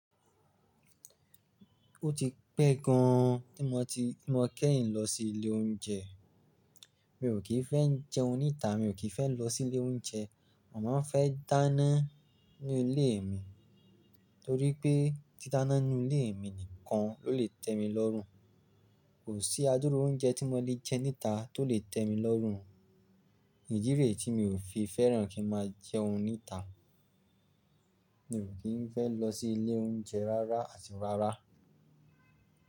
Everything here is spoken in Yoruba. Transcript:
Ó ti pẹ́ gan tí mo ti, tí mo kẹ́yìn lọ sí ilé oúnjẹ. Mi ò kì í fẹ́ n jẹun níta, mi ò kì í fẹ́ lọ sí ilé oúnjẹ. Mo mọn fẹ́ dáná nínú ilé mi torí pé títá ná n nú ilé mi nìkan ló lè tẹ mi lọ́rùn. Kò sí adúru oúnjẹ tí mo lè jẹ níta tó lè tẹ mi lọ́rùn. Idi re ti mi ò fi fẹ́ràn kí n máa jẹun níta. Mi ò kí ń fẹ́ lọ sí ilé oúnjẹ rárá àti rárá.